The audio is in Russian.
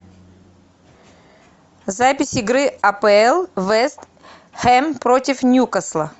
запись игры апл вест хэм против ньюкасла